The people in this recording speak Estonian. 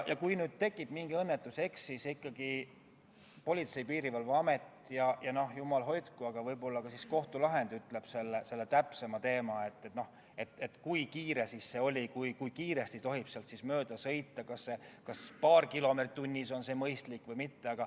Kui nüüd juhtub mingi õnnetus, eks siis ikkagi Politsei- ja Piirivalveamet, aga võib-olla ka kohus ütleb täpsemalt, kui kiire see liikumine oli ja kui kiiresti tohib seal mööda sõita – kas paar kilomeetrit tunnis on mõistlik või mitte.